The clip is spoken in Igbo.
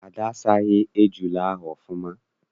Ada asaghị ejula ahụ ọfụma.